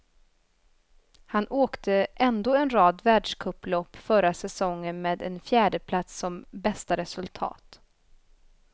Han åkte ändå en rad världscuplopp förra säsongen, med en fjärdeplats som bästa resultat.